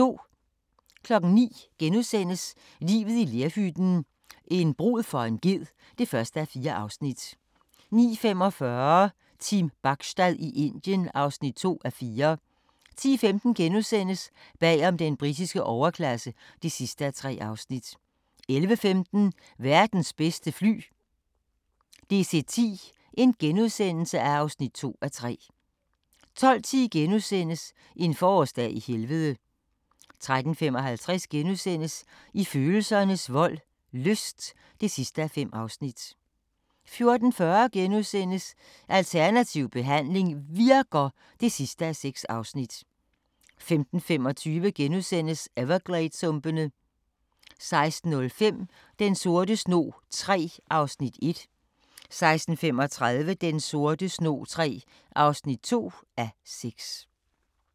09:00: Livet i lerhytten – en brud for en ged (1:4)* 09:45: Team Bachstad i Indien (2:4) 10:15: Bag om den britiske overklasse (3:3)* 11:15: Verdens bedste fly – DC-10 (2:3)* 12:10: En forårsdag i Helvede * 13:55: I følelsernes vold – lyst (5:5)* 14:40: Alternativ behandling virker! (6:6)* 15:25: Evergladessumpene * 16:05: Den sorte snog III (1:6) 16:35: Den sorte snog III (2:6)